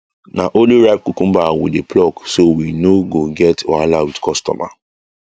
na only ripe cucumber we dey pluck so we no go get wahala with customer